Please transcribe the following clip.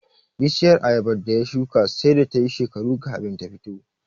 Bishiyar Ayabar da ya shuka sai da tayi shekaru kafin ta fito